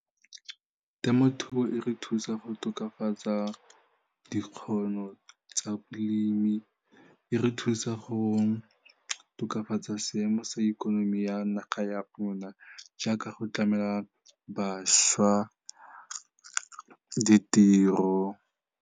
Temothuo e re thusa go tokafatsa dikgono tsa bolemi, e re thusa go tokafatsa seemo sa ikonomi ya naga ya rona jaaka go tlamela bašwa ditiro.